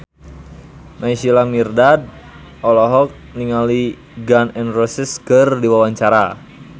Naysila Mirdad olohok ningali Gun N Roses keur diwawancara